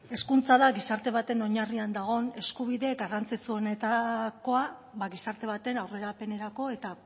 hezkuntza da gizarte baten oinarrian dagoen eskubide garrantzitsuenetakoa ba gizarte baten aurrerapenerako eta